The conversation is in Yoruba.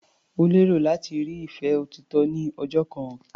Ó lérò láti rí ìfẹ́ òtítọ́ ní ọjọ́ kan.